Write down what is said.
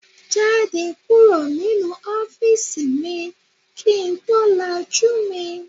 Jáde kúrò nínú ọ́fíìsì mi kì ń tó lajú mi.